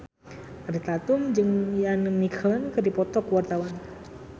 Ariel Tatum jeung Ian McKellen keur dipoto ku wartawan